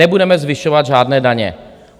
Nebudeme zvyšovat žádné daně.